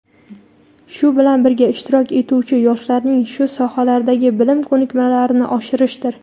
shu bilan birga ishtirok etuvchi yoshlarning shu sohalardagi bilim ko‘nikmalarini oshirishdir.